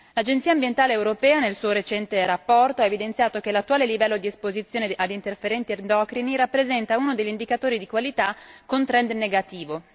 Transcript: L'Agenzia ambientale europea, nel suo più recente rapporto, ha evidenziato che l'attuale livello di esposizione ad interferenti endocrini rappresenta uno degli indicatori di qualità con trend negativo.